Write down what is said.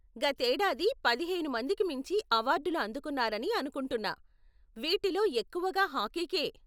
గతేడాది పదిహేను మందికి మించి అవార్డులు అందుకున్నారని అనుకుంటున్నా, వీటిలో ఎక్కువగా హాకీ కే.